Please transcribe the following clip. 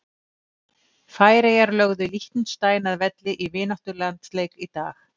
Færeyjar lögðu Liechtenstein að velli í vináttulandsleik í dag.